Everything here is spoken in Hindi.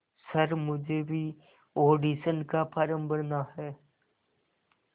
सर मुझे भी ऑडिशन का फॉर्म भरना है